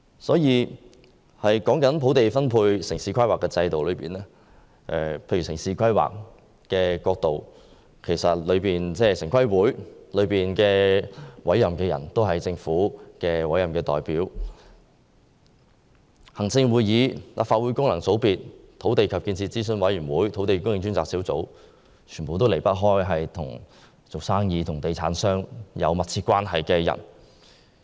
說到土地分配和城市規劃制度，城市規劃委員會的全體成員均由政府委任，而行政會議、立法會功能界別、土地及建設諮詢委員會和專責小組的組成，全都離不開與商界和地產商有密切關係的人。